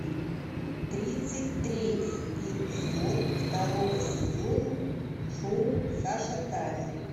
тридцать третий эпизод второго сезона шоу сашатаня